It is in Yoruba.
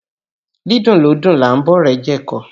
Dídùn lódùn là ń bá ọ̀rẹ́ jẹ ẹ̀kọ